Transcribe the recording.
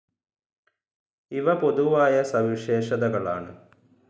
ഇവ പൊതുവായ സവിശേഷതകൾ ആണ്.